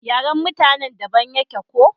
yaren mutanen da daban yake ko?